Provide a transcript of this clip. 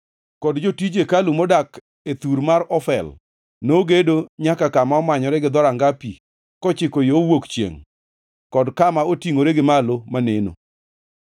kod jotij hekalu modak e thur mar Ofel nogedo nyaka kama omanyore gi Dhoranga Pi kochiko yo wuok chiengʼ kod kama otingʼore gi malo maneno.